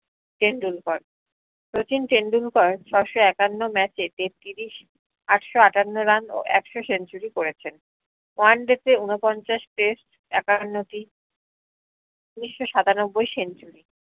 টেন্ডুলকার শচীন টেন্ডুলকার ছয়শো একান্ন match এ তেত্রিশ আটশো আটান্নো run ও একশো century করেছেন oneday তে উনপঞ্চাশ test একান্নটি উনিশ্য সাতানব্বই century